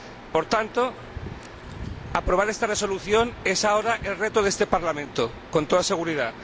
Por tanto, aprobada esta resolución, es ahora el reto de este Parlamento, con toda seguridad.